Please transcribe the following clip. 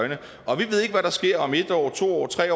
er der sker om en år to år tre